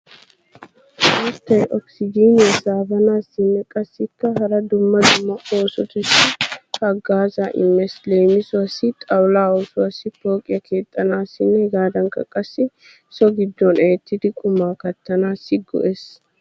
Mittay okisijiiniya saabanaassinne qassikka hara dumma dumma oosotussi haggaazzaa immees. Leemisuwaassi xawullaa oosuwaassi, pooqiya keexxanaassinne hegaadankka qassi so giddon eettidi qumaa kattanaassi go"ees.